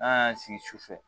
N'an y'an sigi su sufɛ